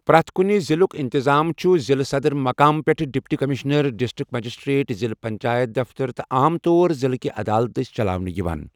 پرٮ۪تھ کُنہِ ضلعُک انتظام چھُ ضلعہٕ صدر مٗقام پٮ۪ٹھٕہٕ ڈپٹی کمشنر، ڈسٹرکٹ مجسٹریٹ، ضلع پنچایت دفترٕ تہٕ عام طور ضلعہہِ عدالتہٕ دسہِ چلاونہٕ یوان۔